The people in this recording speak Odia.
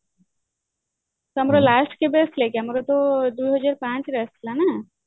ତ ଆମର last କେବେ ଆସିଥିଲା କି ଆମର ତ ଦୁଇହଜାର ପାଞ୍ଚ ରେ ଆସିଥିଲା ନା